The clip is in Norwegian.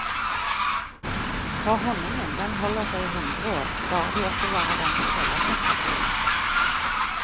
For honningen den holder seg i hundre år, bare du oppbevarer den i kjellertemperatur.